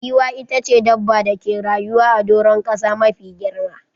Giwa ita ce dabba dake rayuwa a doran kasa mafi girma